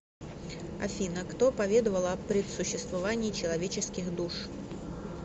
афина кто поведовал о предсуществовании человеческих душ